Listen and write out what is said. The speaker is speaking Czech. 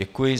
Děkuji.